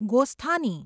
ગોસ્થાની